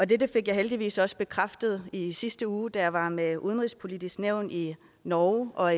dette fik jeg heldigvis også bekræftet i sidste uge da jeg var med det udenrigspolitiske nævn i norge og